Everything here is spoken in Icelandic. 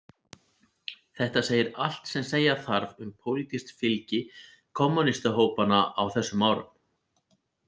Þetta segir allt sem segja þarf um pólitískt fylgi kommúnistahópanna á þessum árum.